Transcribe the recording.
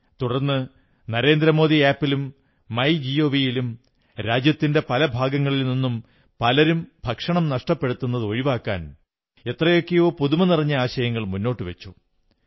തുടർന്ന് നരേന്ദ്രമോദി ആപ് ലും my gov ലും രാജ്യത്തിന്റെ പല ഭാഗങ്ങളിൽ നിന്നും പലരും ഭക്ഷണം നഷ്ടപ്പെടുത്തുന്നത് ഒഴിവാക്കാൻ എത്രയെത്രയോ പുതുമനിറഞ്ഞ ആശയങ്ങൾ മുന്നോട്ടുവച്ചു